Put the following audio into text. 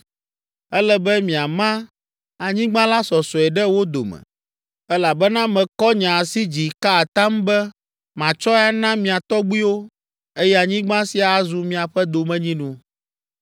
Ele be miama anyigba la sɔsɔe ɖe wo dome, elabena mekɔ nye asi dzi ka atam be matsɔe ana mia tɔgbuiwo, eye anyigba sia azu miaƒe domenyinu.